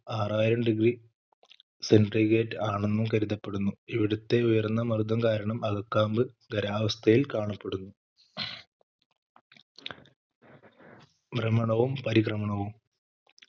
ആറായിരം degree centigrade ആണെന്നും കരുതപ്പെടുന്നു ഇവിടുത്തെ ഉയർന്നമർദ്ദം കാരണം അകക്കാമ്പ് ഗരാവസ്ഥയിൽ കാണപ്പെടുന്നു ഭ്രമണവും പരിക്രമണവും